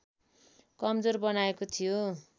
कमजोर बनाएको थियो